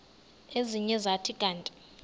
ezinye zathi kanti